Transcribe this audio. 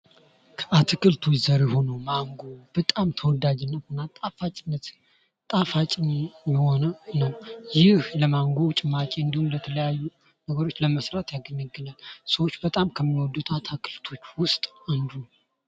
ከአትክልት ዘር የሆነዉ ማንጎ በጣም ተወዳጅነት እና ጣፋጭ የሆነ ነዉ። ይህ ለማንጎ ጭማቂ እንዲሁም ለተለያዩ ነገሮች ለመስራት ያገለግላል። ሰዎች በጣም ከሚወዱት አትክልት ዉስጥ አንዱ ነዉ።